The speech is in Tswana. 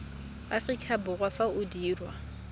aforika borwa fa o dirwa